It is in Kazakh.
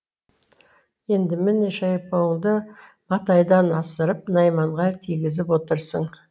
енді міне шайпауыңды матайдан асырып найманға тигізіп отырсың